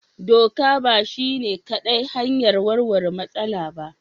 Doka ba shi ne kaɗai hanyar warware matsala ba.